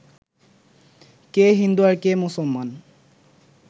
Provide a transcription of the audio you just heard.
কে হিন্দু আর কে মুসলমান